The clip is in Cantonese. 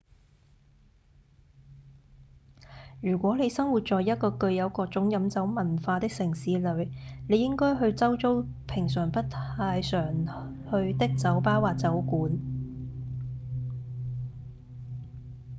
如果你生活在一個具有各種飲酒文化的城市裡你應該去周遭平常不太去的酒吧或酒館